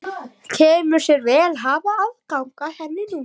Kemur sér vel að hafa aðgang að henni núna!